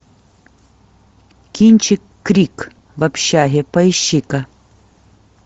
кинчик крик в общаге поищи ка